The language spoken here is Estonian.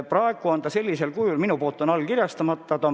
Praegu on sellisel kujul määrus mul veel allkirjastamata.